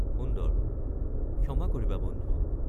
সুন্দৰ—ক্ষমা কৰিবা বন্ধু!